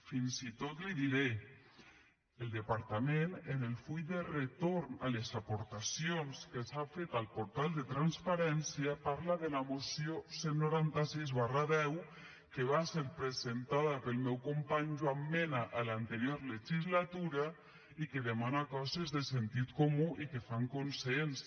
fins i tot li diré el departament en el full de retorn de les aportacions que s’han fet al portal de transparència parla de la moció cent i noranta sis x que va ser presentada pel meu company joan mena a l’anterior legislatura i que demana coses de sentit comú i que fan consens